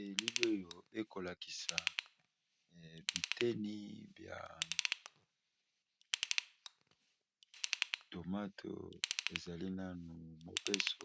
elili oyo ekolakisa biteni bya tomato ezali nanu mobesu